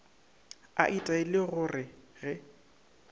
a itaile go re ge